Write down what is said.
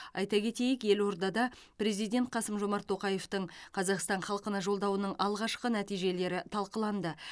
айта кетейік елордада президент қасым жомарт тоқаевтың қазақстан халқына жолдауының алғашқы нәтижелері талқыланды